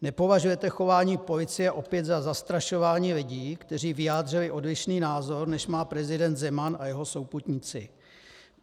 Nepovažujete chování policie opět za zastrašování lidí, kteří vyjádřili odlišný názor, než má prezident Zeman a jeho souputníci?